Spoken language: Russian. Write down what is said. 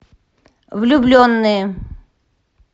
влюбленные